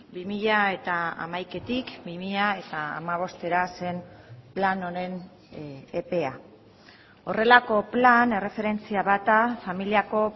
bi mila hamaikatik bi mila hamabostera zen plan honen epea horrelako plan erreferentzia bat da familiako